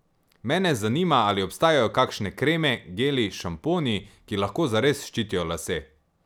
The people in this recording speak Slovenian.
Mene zanima, ali obstajajo kakšne kreme, geli, šamponi, ki lahko zares ščitijo lase?